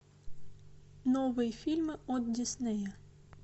новые фильмы от диснея